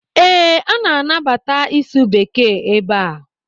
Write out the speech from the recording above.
Ee, a na-anabata ịsụ bekee ebe a.